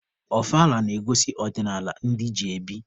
Ọfala na-egosi ọdịnaala ndị ji ebi.